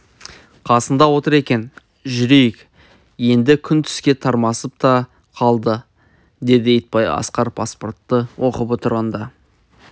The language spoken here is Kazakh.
қасында отыр екен жүрейік енді күн түске тармасып та қалды деді итбай асқар паспортты оқып тұрғанда